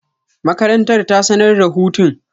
Makarantar ta sanar da hutun.